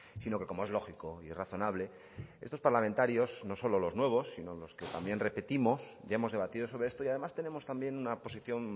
sino que como es lógico y razonable estos parlamentarios no solo los nuevos sino los que también repetimos ya hemos debatido sobre esto y además tenemos también una posición